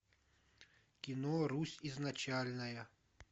кино русь изначальная